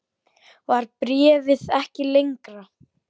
Var bréfið ekki lengra?